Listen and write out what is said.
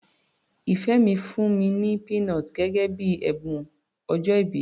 Ìfẹ́ mi fún mi ní peanut gẹ́gẹ́ bíi ẹ̀bùn ọjọ́ìbí.